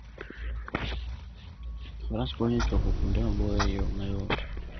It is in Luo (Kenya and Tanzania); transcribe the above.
Faras konyo e chopo kuonde maboyo e yo mayot.